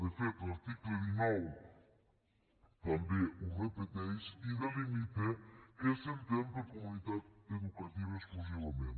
de fet l’article dinou també ho repeteix i delimita què s’entén per comunitat educativa exclusivament